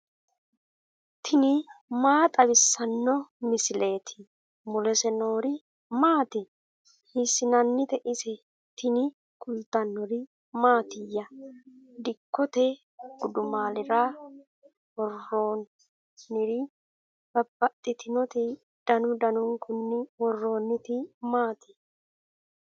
tini maa xawissanno misileeti ? mulese noori maati ? hiissinannite ise ? tini kultannori mattiya? dikkotte gudummaallira woroonniri babaxxittinnotti danu danunkunni woroonnitti maatti?